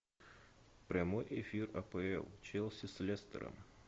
прямой эфир апл челси с лестером